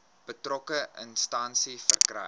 betrokke instansie verkry